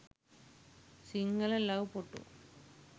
sinhala love photo